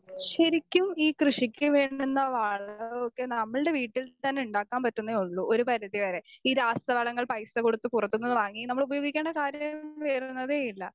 Speaker 2 ശരിക്കും ഈ കൃഷിക്ക് വേണ്ടുന്ന വളവുമൊക്കെ നമ്മൾടെ വീട്ടിൽ നിന്ന് തന്നെ ഉണ്ടാക്കാൻ പറ്റുന്നേയുള്ളൂ ഒരു പരിധിവരെ.ഈ രാസവളങ്ങൾ പൈസ കൊടുത്തു പുറത്തുനിന്ന് വാങ്ങി നമ്മൾ ഉപയോഗിക്കണ കാര്യം വരുന്നതേയില്ല.